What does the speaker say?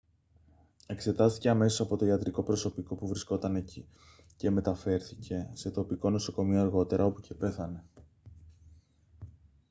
εξετάστηκε αμέσως από το ιατρικό προσωπικό που βρισκόταν εκεί και μεταφέρθηκε σε τοπικό νοσοκομείο αργότερα όπου και πέθανε